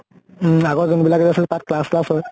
উম আগৰ যোন বিলাক যে আছিলে তাত class ত্লাচ হয়।